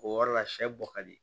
O yɔrɔ la sɛ bɔ ka di